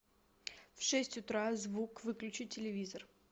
в шесть утра звук выключи телевизор